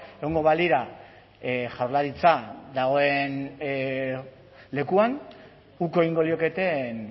egongo balira jaurlaritza dagoen lekuan uko egingo lioketeen